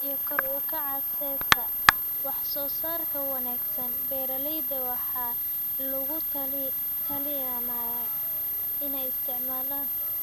iyo kor u kaca sesa. Wax soo saarka wanaagsan, beeralayda waxaa lagula talinayaa inay isticmaalaan